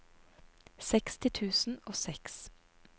seksti tusen og seks